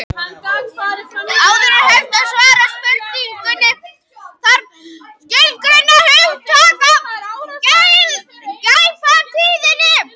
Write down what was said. Áður en hægt er að svara spurningunni þarf að skilgreina hugtakið glæpatíðni.